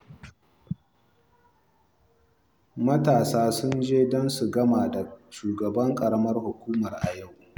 Matasa sun je don su gana da shugaban ƙaramar hukuma yau